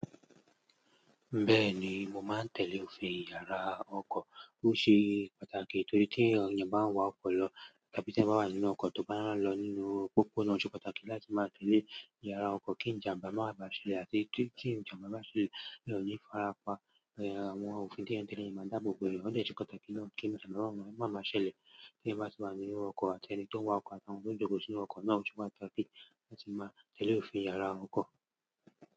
Bẹ́ẹ̀ni, mo máa ń tẹ̀lé òfin yára ọkọ̀. Ó ṣe pàtàkì torí tí ènìyàn bá ń wa ọkọ̀ lọ tàbí tí ẹ̀ máa wà nínú ọkọ̀ tó bá ń lọ nínú pópó náà, ó ṣe pàtàkì láti máa tẹ̀lé ìyára ọkọ̀ kí ìjàmbá má bàá ṣẹlẹ̀ àti kí ìjàmbá má ṣe lè yí ń fárápa. Àwọn òfin díẹ̀díẹ̀ máa dàbọ̀ bọ̀ bẹ́ẹ̀. Ó ṣe pàtàkì náà kí ìjàmbá bá ọkọ̀ má má ṣẹlẹ̀ kí ẹ̀ má ṣe máa wà nínú ọkọ̀ àti ẹni tí ó ń wa ọkọ̀ àti àwọn tó ń jòkò sí inú ọkọ̀ náà ó ṣe pàtàkì láti máa tẹ̀lé òfin yára ọkọ̀.